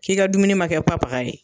K'i ka dumuni ma kɛ papaga ye.